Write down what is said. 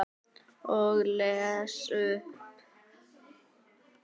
Og les upp.